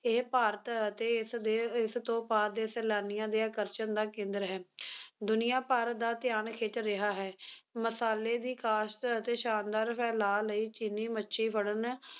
ਇਹ ਭਾਰਤ ਅਤੇ ਇਸਦੇ, ਇਸਤੋਂ ਪਾਰ ਦੇ ਸੈਲਾਨੀਆਂ ਦੇ ਆਕਰਸ਼ਣ ਦਾ ਕੇਂਦਰ ਹੈ ਦੁਨੀਆਂ ਭਰ ਦਾ ਧਿਆਨ ਖਿੱਚ ਰਿਹਾ ਹੈ, ਮਸਾਲੇ ਦੀ ਕਾਸ਼ਤ ਅਤੇ ਸ਼ਾਨਦਾਰ ਫੈਲਾਅ ਲਈ ਚੀਨੀ ਮੱਛੀ ਫੜਨ